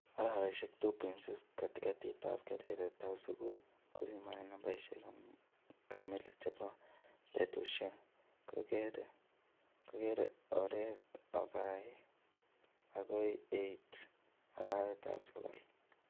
Araweshek 2.6 katikatitab keretab skul kopimanin nambeshek kamili chebo betushek, kokeker oret akoi 8 arawetab sokol